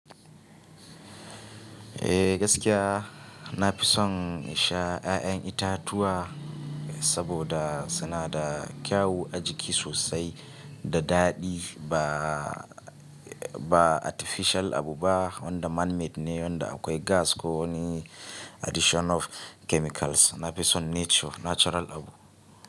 Eh gaskiya, nafi son insha ƴaƴan itatuwa, saboda suna da kyau ajiki sosai da daɗi ba, ba artificial abuba wanda man made ne, wanda akwai gas ko wani addition of chemicals. Nafison nature, natural abu.